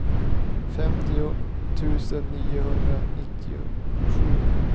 femtio tusen niohundranittiosju